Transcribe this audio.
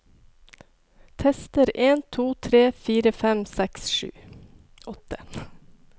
Tester en to tre fire fem seks sju åtte